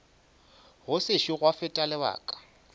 go sešo gwa feta lebaka